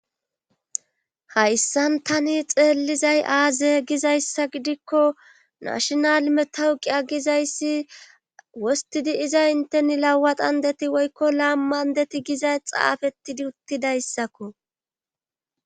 hayssan tani xeellizay aaze gizayssa gidikko nashinal metawuqiya gizayssi wostidi iza inteni lawadandeti woykko laam mandeti gizay xaafetidi uttidayssakko